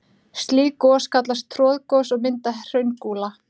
Slík gos kallast troðgos og mynda hraungúla.